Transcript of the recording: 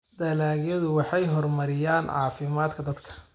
dalagyadu waxay horumariyaan caafimaadka dadka.